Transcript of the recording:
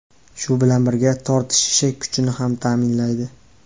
Shu bilan birga tortishishi kuchini ham ta’minlaydi.